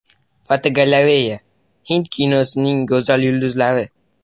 Fotogalereya: Hind kinosining go‘zal yulduzlari.